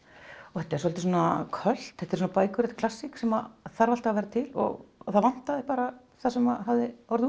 þetta er svolítið költ þetta er klassík sem þarf alltaf að vera til og það vantaði bara það sem hafði orðið